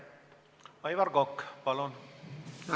Aivar Kokk, palun!